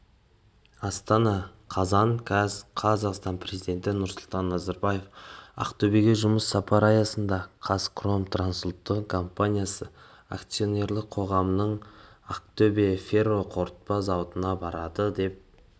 астана қазан қаз қазақстан президенті нұрсұлтан назарбаев ақтөбеге жұмыс сапары аясында қазхром трансұлттық компаниясы акционерлік қоғамының ақтөбе ферроқорытпа зауытына барды деп